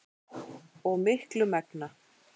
og miklu megna.